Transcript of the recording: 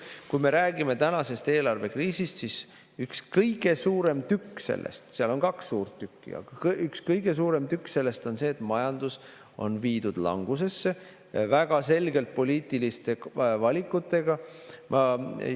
Kui me räägime tänasest eelarvekriisist, siis üks kõige suurem tükk sellest – seal on kaks suurt tükki, aga see on üks kõige suurem tükk – on see, et majandus on viidud väga selgete poliitiliste valikutega langusesse.